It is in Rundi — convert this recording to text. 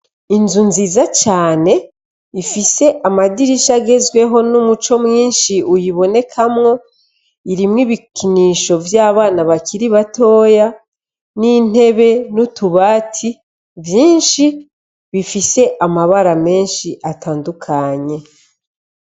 Inzu nziza cane, ifise amadirisha agezweho, n'umuco mwinshi uyibonekamwo, irimwo ibikinisho vy'abana bakiri batoya n'intebe n'utubati vyinshi, bifise amabara menshi atandukanye.